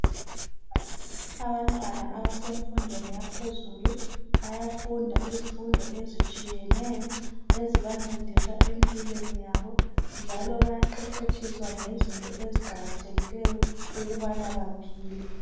Abantwana abasemfundweni yaphezulu bayafunda izifundo ezitshiyeneyo ezibancedisa empilweni yabo njalo bayaqeqetshiswa ngezinto eziqakathekileyo ukubana baphile.